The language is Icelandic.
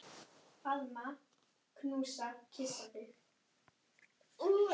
Þú lítur illa út